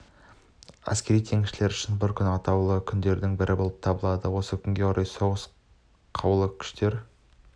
әскери теңізшілер үшін бұл күн атаулы күндердің бірі болып табылады осы күнге орай соғыс қарулы күштер